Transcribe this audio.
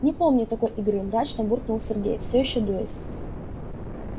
не помню такой игры мрачно буркнул сергей всё ещё дуясь